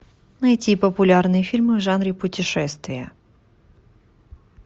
найти популярные фильмы в жанре путешествия